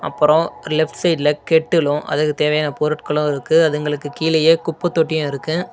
அப்பரோ லெஃப்ட் சைடுல கெட்டுலும் அதுக்கு தேவையான பொருட்களும் இருக்கு அதுங்களுக்கு கீழயே குப்பத்தொட்டியு இருக்கு.